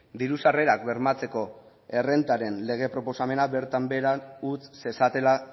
diru sarrerak bermatzeko errentaren lege proposamena bertan behera utz zezatela